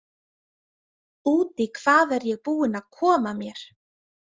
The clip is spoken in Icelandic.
Út í hvað er ég búin að koma mér?